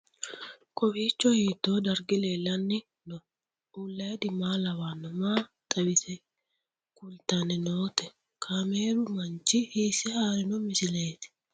Kowiicho hiito dargi leellanni no ? ulayidi maa lawannoho ? maa xawisse kultanni noote ? kaameru manchi hiisse haarino misileeti?